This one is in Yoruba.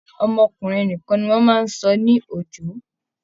Ọmọkùnrin nìkan ni wọ́n máa ń sọ ní Òjó